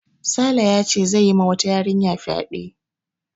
Sale yace zai yi ma wata yarinya fyaɗe